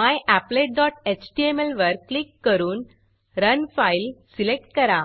maplet dot HTML my applet dot एचटीएमलवर click करून run file run file select करा